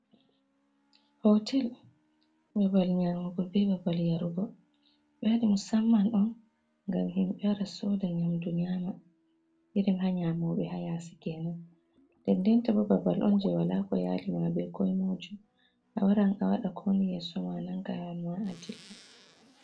Hootel babal nyaamugo be babal yarugo, ɓe waɗi musamman on ngam himɓe wara sooda nyamdu nyaama, irin ha nyaamooɓe ha yaasi kenan, nden ndenta bo babal on je wala ko yaali ma be ko moijo, a waran a waɗa ko woni yeso ma, a nanga laawol ma a dilla.